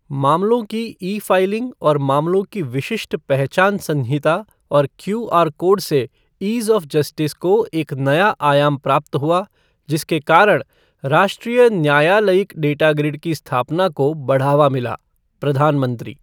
मामलों की e filing और मामलों की विशिष्ट पहचान संहिता और क्यूआर कोड से ईज़ ऑफ़ जस्टिस को एक नया आयाम प्राप्त हुआ, जिसके कारण राष्ट्रीय न्यालयिक डेटा ग्रिड की स्थापना को बढ़ावा मिला प्रधानमंत्री